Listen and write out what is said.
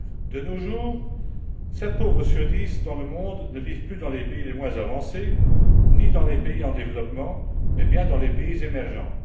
De nos jours, sept pauvres sur dix dans le monde ne vivent plus dans les pays les moins avancés ni dans les pays en développement, mais bien dans les pays émergents.